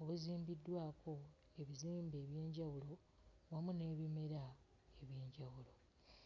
obuzimbiddwako ebizimbe eby'enjawulo wamu n'ebimera eby'enjawulo.